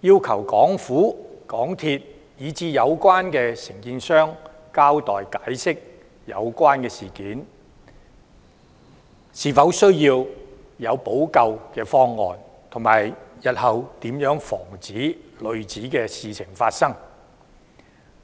要求港府、港鐵公司以至有關承建商交代和解釋有關事件，研究是否需要制訂補救方案，以及日後如何防止類似事情發生。